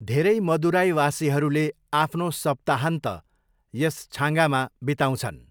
धेरै मदुराईवासीहरूले आफ्नो सप्ताहन्त यस छाँगामा बिताउँछन्।